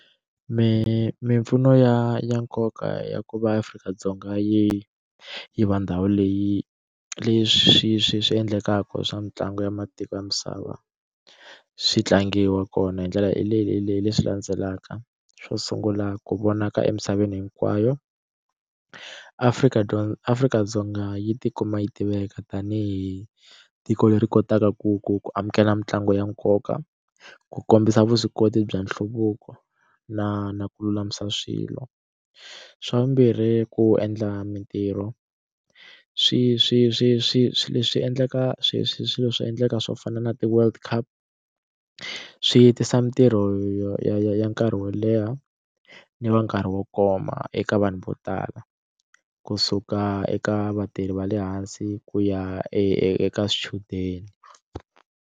Mimpfuno ya ya nkoka ya ku va Afrika-Dzonga yi yiva ndhawu leyi leswi swi endlekaka swa mitlangu ya matiko ya misava swi tlangiwa kona hindlela leyi leyi leyi leswi landzelaka xo sungula ku vonaka emisaveni hinkwayo Afrika Afrika-Dzonga yi tikuma yi tiveka tanihi tiko leri kotaka ku ku ku amukela mitlangu ya nkoka ku kombisa vuswikoti bya nhluvuko na na ku lulamisa swilo swa vumbirhi ku endla mitirho swi swi swi swi swi swi endlaka swi swilo swi endleka swo fana na ti world cup swi tisa mitirho ya ya ya nkarhi wo leha ni va nkarhi wo koma eka vanhu vo tala kusuka eka vatirhi va le hansi ku ya eka swichudeni.